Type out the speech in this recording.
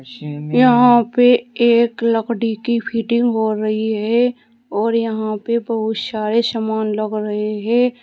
यहां पे एक लकड़ी की फिटिंग हो रही है और यहां पे बहुत सारे सामान लग रहे हैं।